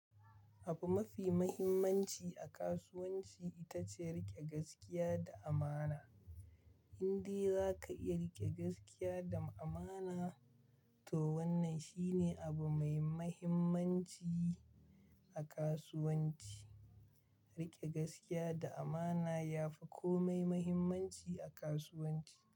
Abu mafi mahimmanci a kasuwanci ita ce riƙe gaskiya da amana. Inde za ka iya riƙe gaskiya da amana to wannan shi ne abu mai mahimmanci a kasuwanci. Riƙe gaskiya da amana ya fi kome mahimmanci a kasuwanci.